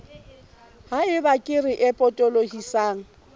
ha eba kere e potolohisang